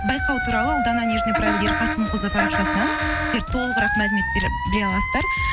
байқау туралы ұлдана ерқасымқызы парақшасынан сіздер толығырақ мәлімет біле аласыздар